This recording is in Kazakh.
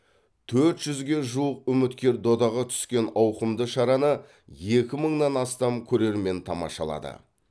төрт жүзге жуық үміткер додаға түскен ауқымды шараны екі мыңнан астам көрермен тамашалады